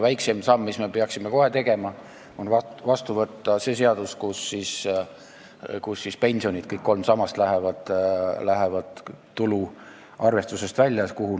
Väiksem samm, mille me peaksime kohe tegema, on vastu võtta seadus, mille kohaselt pensionid, kõik kolm sammast, lähevad tulu arvestusest välja.